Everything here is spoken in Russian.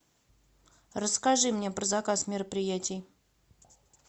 расскажи мне про заказ мероприятий